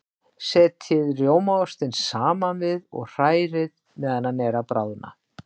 Setjið rjómaostinn saman við og hrærið meðan hann er að bráðna.